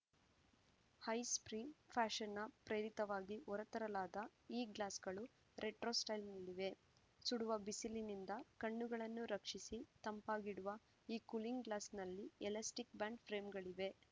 high street ಫ್ಯಾಶನ್‌ನ ಪ್ರೇರಿತವಾಗಿ ಹೊರತರಲಾದ ಈ ಗ್ಲಾಸ್‌ಗಳು ರೆಟ್ರೋ ಸ್ಟೈಲ್‌ನಲ್ಲಿವೆ ಸುಡುವ ಬಿಸಿಲಿನಿಂದ ಕಣ್ಣುಗಳನ್ನು ರಕ್ಷಿಸಿ ತಂಪಾಗಿಡುವ ಈ ಕೂಲಿಂಗ್‌ ಗ್ಲಾಸ್‌ನಲ್ಲಿ ಎಲಾಸ್ಟಿಕ್‌ ಬ್ಯಾಂಡ್‌ ಫ್ರೇಮ್‌ಗಳಿವೆ